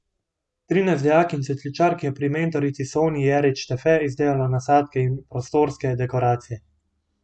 Trinajst dijakinj cvetličark je pri mentorici Sonji Jerič Štefe izdelalo nasadke in prostorske dekoracije.